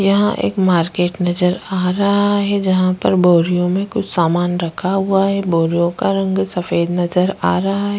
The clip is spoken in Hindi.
यहाँ एक मार्केट नजर आ रहा है जहाँ पर बोरियों में कुछ सामान रखा हुवा है बोरियों का रंग सफ़ेद नजर आ रहा है।